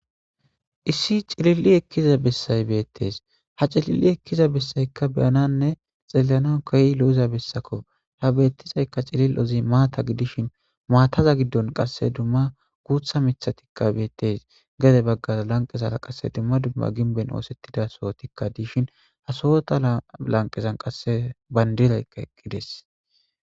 Issi cilili ekkiza bessay beettes ha cililli ekkiza bessaykka beyananne xeellanan koyi lo'za bessako ha betizaykka cilil ozi maata gidishin maataza giddon qasse dumma guutha mithatikka beettes gade baggaza lanqezara qasse dumma dumma ginben oosettida sohotikka diishin hasowota lanqezan qasse bandiraykka eqqides.